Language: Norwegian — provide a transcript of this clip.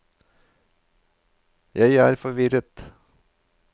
jeg er forvirret